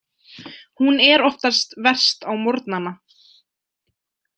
Hún er oftast verst á morgnana.